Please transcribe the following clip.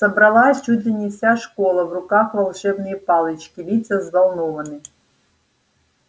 собралась чуть ли не вся школа в руках волшебные палочки лица взволнованны